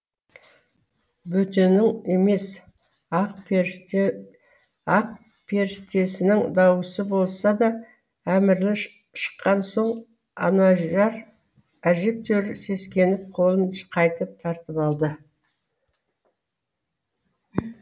бөтенің емес ақперіштесінің даусы болса да әмірлі шыққан соң анажар әжептәуір сескеніп қолын қайтып тартып алды